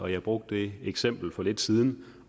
jeg brugte eksemplet for lidt siden